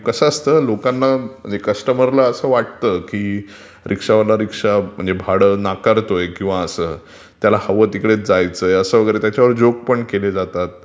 कसं असंत लोकांना ..कस्चमरला असं वाटतं की रीक्षावाला रीक्षा म्हणजे भाडं नाकारतोय किंवा असं त्याला हवं तिकडेच जायचय, त्याच्यावर जोक पम केले जातात.